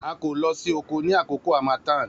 A ko lo si oko ni akoko hamathan